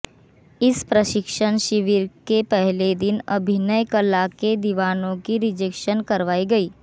इस प्रशिक्षण शिविर के पहले दिन अभिनय कला के दीवानों की रिजेक्शन करवाई गई